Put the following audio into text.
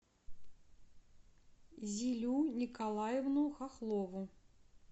зилю николаевну хохлову